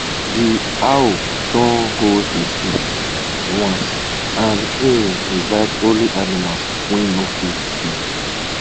de owl don hold a feast once and e invite only animals wey no fit sing